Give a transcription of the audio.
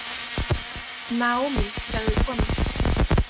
Naomi, sagði konan.